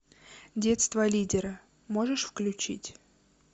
детство лидера можешь включить